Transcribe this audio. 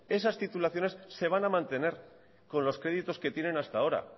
esas titulaciones se van a mantener con los créditos que tienen hasta ahora